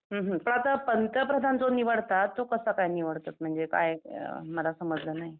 हुं हुं पण आता पंतप्रधान जो निवडतात तो कसा काय निवडतात? म्हणजे काय मला समजलं नाही?